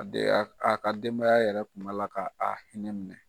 A de y'aa ka denbaya yɛrɛ tun b'a la k'a hinɛ minɛ.